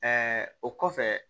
o kɔfɛ